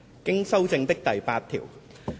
經修正的附表。